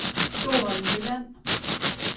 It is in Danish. Stoholm Jylland